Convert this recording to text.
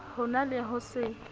ho na le ho se